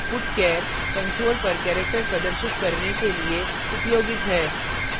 putchar console पर character प्रदर्शित करने के लिए उपयोगित है